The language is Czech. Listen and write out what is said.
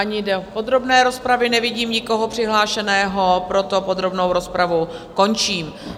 Ani do podrobné rozpravy nevidím nikoho přihlášeného, proto podrobnou rozpravu končím.